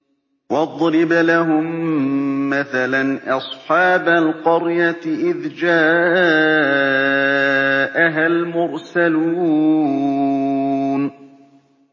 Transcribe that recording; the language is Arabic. وَاضْرِبْ لَهُم مَّثَلًا أَصْحَابَ الْقَرْيَةِ إِذْ جَاءَهَا الْمُرْسَلُونَ